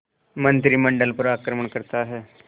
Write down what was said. मंत्रिमंडल पर आक्रमण करता है